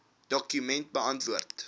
dokument beantwoord